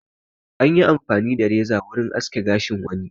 Anyi amfani da reza wurin aske gashin wani.